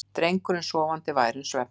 Drengurinn sofandi værum svefni.